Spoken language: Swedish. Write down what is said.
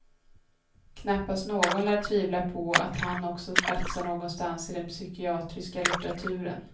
Knappast någon lär tvivla på att han också platsar någonstans i den psykiatriska litteraturen.